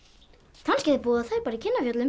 kannski búa þær í